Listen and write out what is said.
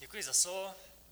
Děkuji za slovo.